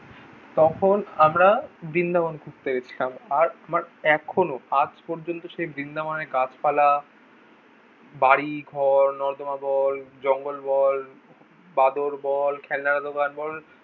তখন আমরা বৃন্দাবন ঘুরতে গেছিলাম আর আমার এখনোও আজ পর্যন্ত সেই বৃন্দাবনের গাছপালা, বাড়ি, ঘর, নর্দমা বল, জঙ্গল বল, বাঁদর বল, খেলনার দোকান বল,